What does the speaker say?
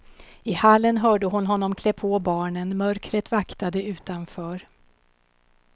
I hallen hörde hon honom klä på barnen, mörkret vaktade utanför.